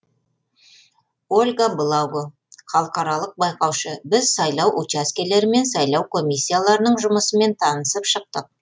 ольга благо халықаралық байқаушы біз сайлау учаскелері мен сайлау комиссияларының жұмысымен танысып шықтық